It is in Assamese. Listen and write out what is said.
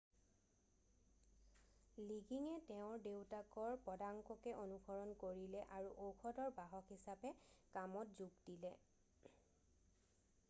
লিগিঙে তেওঁৰ দেউতাকৰ পদাঙ্ককে অনুসৰণ কৰিলে আৰু ঔষধৰ বাহক হিচাপে কামত যোগ দিলে